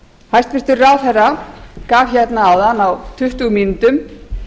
hæstvirtur ráðherra gaf hérna áðan á tuttugu mínútum